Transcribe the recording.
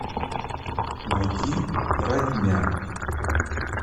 найти родня